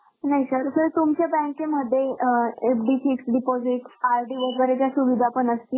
नाही sir, sir तुमच्या बँकेमध्ये अं FD, Fixed deposit, RD वगैरेची पण सुविधा असते